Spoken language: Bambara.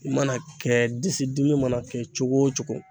I mana kɛ, disi dimi mana kɛ cogo o cogo.